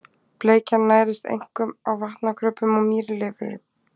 Bleikjan nærist einkum á vatnakröbbum og mýlirfum.